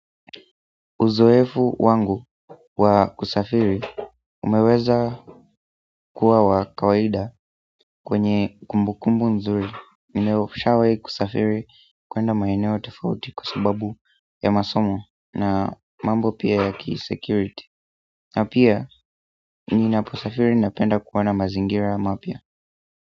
Uzoefu wangu wa kusafiri umeweza kuwa wa kawaida, kwenye kumbu kumbu nzuri ninayo nishawai kusafiri kwenda maeneo tofauti kwa sababu ya masomo na mambo pia ya kisecurity na pia ninapo safiri napenda kuona mazingira mapya.